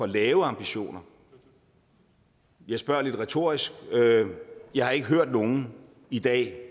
lave ambitioner jeg spørger lidt retorisk jeg har ikke hørt nogen i dag